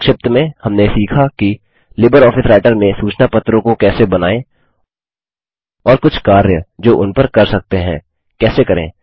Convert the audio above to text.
संक्षिप्त में हमने सीखा कि लिबर ऑफिस राइटर में सूचना पत्रों को कैसे बनाएँ और कुछ कार्य जो उन पर कर सकते हैं कैसे करें